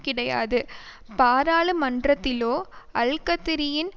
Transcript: கிடையாது பாராளுமன்றத்திலோ ஆல்கதிரியின்